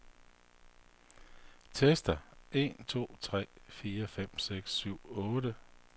Tester en to tre fire fem seks syv otte.